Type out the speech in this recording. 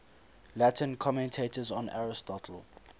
latin commentators on aristotle